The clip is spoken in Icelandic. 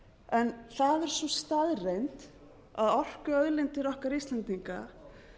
en það er sú staðreynd að orkuauðlindir okkar íslendinga